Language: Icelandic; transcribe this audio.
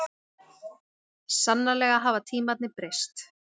Sannarlega hafa tímarnir breyst.